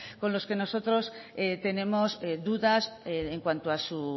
con los que nosotros tenemos dudas en cuanto a su